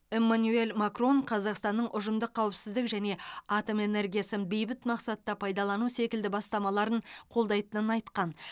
эмманюэль макрон қазақстанның ұжымдық қауіпсіздік және атом энергиясын бейбіт мақсатта пайдалану секілді бастамаларын қолдайтынын айтқан